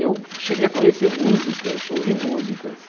Eu cheguei a conhecer músicas, ouvir músicas.